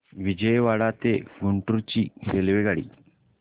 विजयवाडा ते गुंटूर ची रेल्वेगाडी